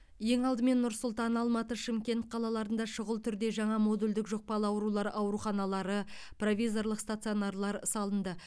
ең алдымен нұр сұлтан алматы шымкент қалаларында шұғыл түрде жаңа модульдік жұқпалы аурулар ауруханалары провизорлық стационарлар салынды